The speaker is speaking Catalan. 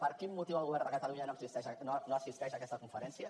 per quin motiu el govern de catalunya no assisteix a aquesta conferència